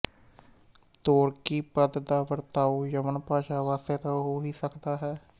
ਤੋਰਕੀ ਪਦ ਦਾ ਵਰਤਾਓ ਯਵਨ ਭਾਸ਼ਾ ਵਾਸਤੇ ਤਾਂ ਹੋ ਹੀ ਸਕਦਾ ਹੈ